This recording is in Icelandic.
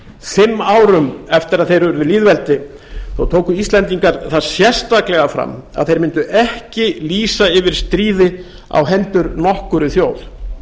fimm árum eftir að þeir urðu lýðveldi þá tóku íslendingar það sérstaklega fram að þeir mundu ekki lýsa yfir stríði á hendur nokkurri þjóð